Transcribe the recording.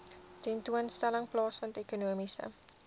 tentoonstelling plaasvind ekonomiese